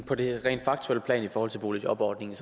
på det rent faktuelle plan i forhold til boligjobordningen